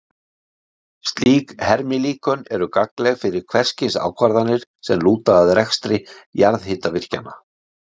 Slík hermilíkön eru gagnleg fyrir hvers kyns ákvarðanir sem lúta að rekstri jarðhitavirkjana.